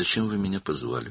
Məni niyə çağırdınız?